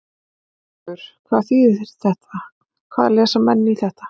Haukur: Hvað þýðir þetta, hvað lesa menn í þetta?